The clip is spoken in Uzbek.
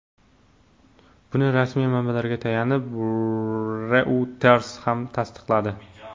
Buni rasmiy manbalarga tayanib, Reuters ham tasdiqladi.